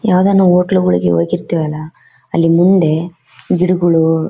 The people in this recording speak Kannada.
ಯಾವದಾನ ಹೋಟ್ಲು ಗಳಿಗೆ ಹೋಗಿರ್ತೀವಲ್ಲಾ ಅಲ್ಲಿ ಮುಂದೆ ಗಿಡಗಳು --